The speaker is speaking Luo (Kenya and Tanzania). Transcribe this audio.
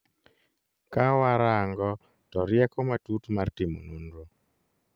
Kawa rango to rieko matut mar timo nonro